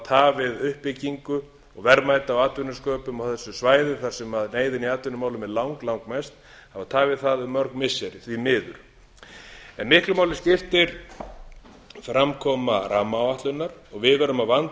tafið uppbyggingu og verðmæta og atvinnusköpun á þessu svæði þar sem neyðin í atvinnumálum er lang langmest hafa tafið það um mörg missiri því miður miklu máli skiptir framkoma rammáætlunar og við verðum að vanda